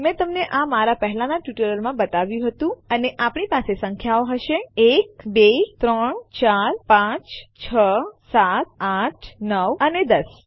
મેં તમને આ મારા પહેલાંના ટ્યુટોરિયલોમાં બતાવ્યું હતું અને આપણી પાસે સંખ્યાઓ હશે 1 2 3 4 5 6 7 8 9 અને 10